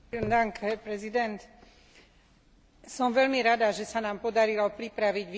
Som veľmi rada, že sa nám podarilo pripraviť vyváženú rezolúciu k situácii v Gaze.